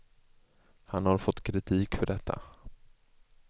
Han har fått kritik för detta.